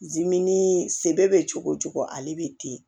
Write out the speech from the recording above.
senbɛ bɛ cogo cogo ale bɛ ten